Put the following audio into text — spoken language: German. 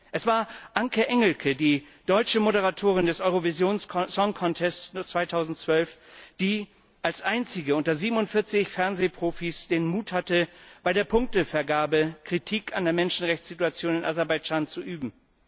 Es war Anke Engelke, die deutsche Moderatorin des Eurovision Song Contest 2012, die als einzige unter 47 Fernsehprofis den Mut hatte, bei der Punktevergabe Kritik an der Menschenrechtssituation in Aserbaidschan zu üben.